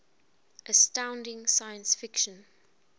astounding science fiction